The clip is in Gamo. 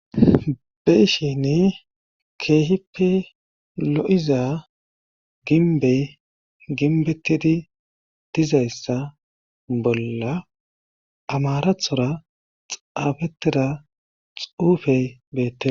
Beshin keehippe lo7iza ginbey ginbettidi dizayssa bolla amarathora xaafettida xuufey beette.